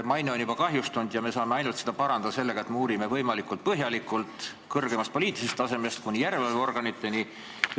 Maine on juba kahjustatud ja me saame seda parandada ainult sellega, et me uurime seda asja võimalikult põhjalikult, kõrgemast poliitilisest tasemest kuni järelevalveorganiteni.